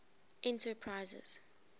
enterprises